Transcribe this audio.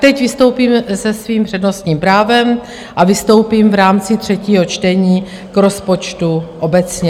Teď vystoupím se svým přednostním právem a vystoupím v rámci třetího čtení k rozpočtu obecně.